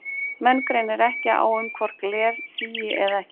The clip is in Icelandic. Menn greinir ekki á um hvort gler sígi eða ekki.